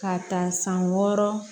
Ka ta san wɔɔrɔ